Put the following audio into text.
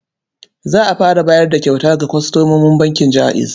Za a fara bayar da kyauta ga kwastomomin bankin Jaiz.